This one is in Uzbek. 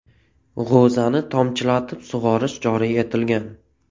G‘o‘zani tomchilatib sug‘orish joriy etilgan.